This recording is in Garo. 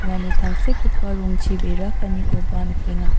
uano tangsekgipa rongchi bera kaanikoba nikenga.